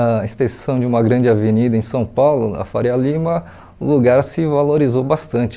a extensão de uma grande avenida em São Paulo, a Faria Lima, o lugar se valorizou bastante.